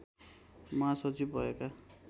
महासचिव भएका